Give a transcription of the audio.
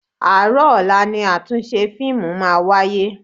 Àárọ̀ ọ̀la ni àtúnṣe fíìmù máa wáyé.